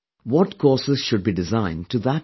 What courses should be designed to that end